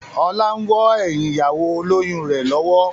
Ọlá wọ́ ẹyin ìyàwó olóyun rẹ lọ́wọ́.